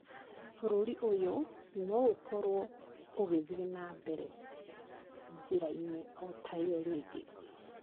Bũrũri ũyũ no ũkorũo ũgĩthiĩ na mbere njĩra-inĩ o ta ĩyo rĩngĩ.